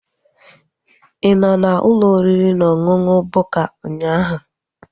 Ị nọ n'ụlọ oriri na ọṅụṅụ Bukka ụnyaahụ?